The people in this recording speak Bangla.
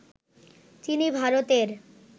তিনি ভারতের